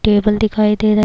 table دکھایی دے رہا ہے،